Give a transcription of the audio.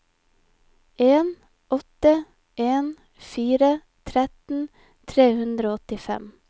en åtte en fire tretten tre hundre og åttifem